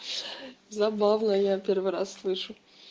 забавно я первый раз слышу